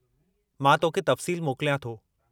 मां तोखे तफ़सीलु मोकिलियां थो।